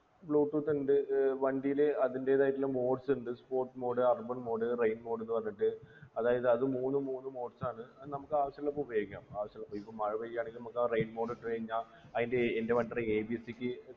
bluetooth ണ്ട് ഏർ വണ്ടീല് അതിൻ്റെതായിട്ടുള്ള modes ണ്ട് sport mode urban mode rain mode എന്ന് പറഞ്ഞിട്ട് അതായത് അതും മൂന്നും മൂന്ന് modes ആണ് അത് നമുക്കാവശ്യള്ളപ്പോ ഉപയോഗിക്കാ ആവശ്യള്ളപ്പോ ഇപ്പൊ മഴ പെയ്യാണെങ്കില് മക്കാ rain mode ഇട്ടു കഴിഞ്ഞാ അയിൻ്റെ ക്ക്